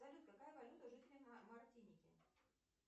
салют какая валюта у жителей мартиники